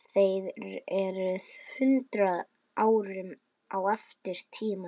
Þér eruð hundrað árum á eftir tímanum.